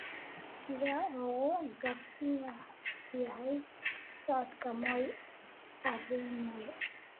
sida uu u gaabis yahay socodka moi avenue